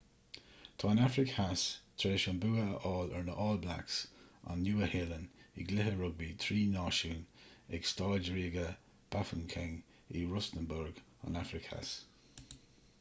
tá an afraic theas tar éis an bua a fháil ar na all blacks an nua-shéalainn i gcluiche rugbaí trí náisiún ag staid ríoga bafokeng in rustenburg an afraic theas